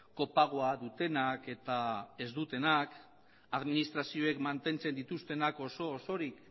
kopagoa dutenak eta ez dutenak administrazioek mantentzen dituztenak oso osorik